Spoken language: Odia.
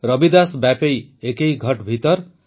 ରବିଦାସ ବ୍ୟାପୈ ଏକୈ ଘଟ ଭିତର୍